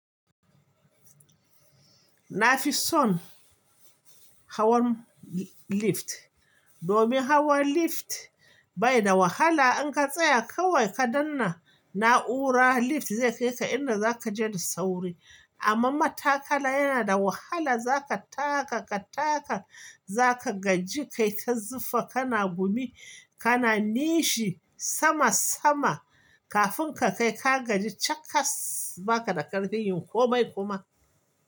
Nafi son hawan lift, domin hawan lift bai da wahala. In ka tsaya kawai ka danna na'ura, lift zai kai ka inda za ka je da sauri. Amma matakala yana da wahala. Za ka taka, ka taka, za ka gaji kai ta zufa, kana gumi, kana nishi sama sama kafin ka kai. Ka gaji cakasss, ba ka da ƙarfin yin komai kuma.